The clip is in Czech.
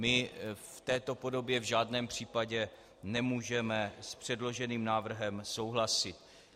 My v této podobě v žádném případě nemůžeme s předloženým návrhem souhlasit.